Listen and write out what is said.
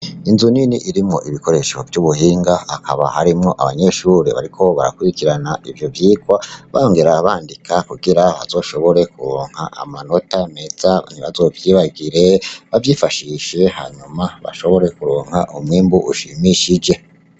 Inzu nini irimwo ibikoresho vy'ubuhinga, hakaba harimwo abanyeshure bariko barakurikirana ivyo vyigwa bongera bandika kugira bazoshobore kuronka amanota meza, ntibazovyibagire, bavyifashishe hanyuma bashobore kuronka umwimbu ushimishije.